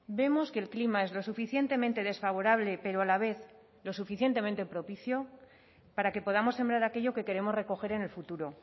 vemos que el clima es lo suficientemente desfavorable pero a la vez lo suficientemente propicio para que podamos sembrar aquello que queremos recoger en el futuro